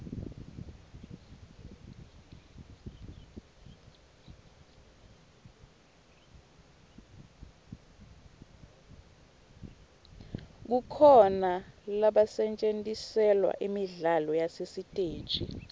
kukhona lobetjgntiselwa imidlalo yasesiteji